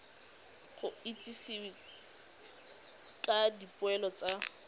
go itsisiwe ka dipoelo tsa